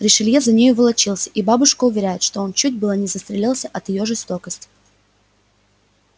ришелье за нею волочился и бабушка уверяет что он чуть было не застрелился от её жестокости